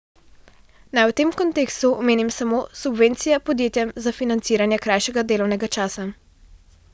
Naj v tem kontekstu omenim samo subvencije podjetjem za financiranje krajšega delovnega časa.